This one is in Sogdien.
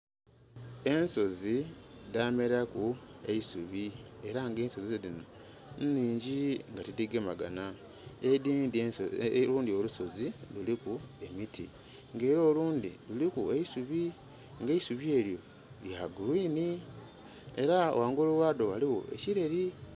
Ensozi dhameraku eisubi era nga ensozi dhino nnhingi nga tidhigemagana, edhindhi... olundhi olusozi kuliku emiti nga era olundhi luliku eisubi nga eisubi elyo lya "green" era ghangulu ghadho ghaligho ekireri.